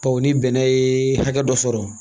Bawo ni bɛnɛ ye hakɛ dɔ sɔrɔ